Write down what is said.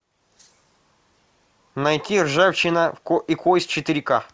найти ржавчина и кость четыре ка